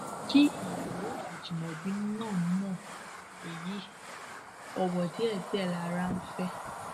kí ìyàwó ajimobi náà mọ èyí owó díẹdíẹ lara ń fẹ o